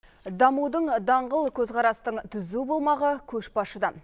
дамудың даңғыл көзқарастың түзу болмағы көшбасшыдан